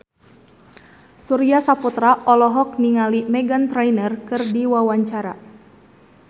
Surya Saputra olohok ningali Meghan Trainor keur diwawancara